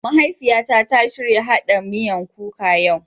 Mahaifiyan na ta shirya haɗɗen miyan kuka yau.